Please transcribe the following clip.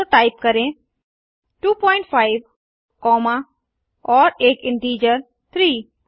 तो टाइप करें 25 कॉमा और एक इंटीजर 3